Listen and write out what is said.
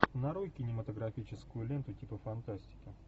нарой кинематографическую ленту типа фантастики